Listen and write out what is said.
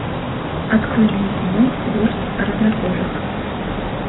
открой мне кино вождь разнокожих